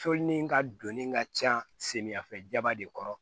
Tolinini ka doni ka ca samiyɛ fɛba de kɔrɔ